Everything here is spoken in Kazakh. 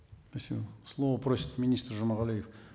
спасибо слово просит министр жумагалиев